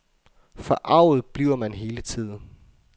Forarget bliver man hele tiden.